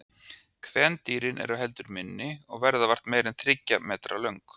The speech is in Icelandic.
Kvendýrin eru heldur minni og verða vart meira en þriggja metra löng.